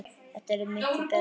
Það yrði miklu BETRA!